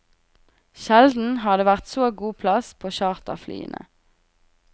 Sjelden har det vært så god plass på charterflyene.